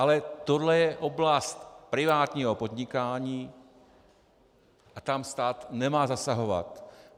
Ale tohle je oblast privátního podnikání a tam stát nemá zasahovat.